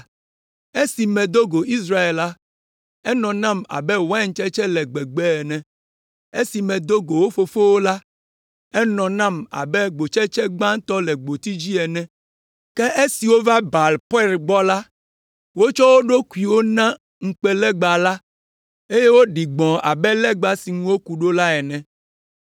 “Esi medo go Israel la, enɔ nam abe waintsetse le gbegbe ene; esi medo go wo fofowo la, enɔ nam abe gbotsetse gbãtɔ le gboti dzi ene. Ke esi wova Baal Peor gbɔ la, wotsɔ wo ɖokuiwo na ŋukpenalegba la eye woɖi gbɔ̃ abe legba si ŋu woku ɖo la ene.